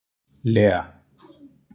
Lea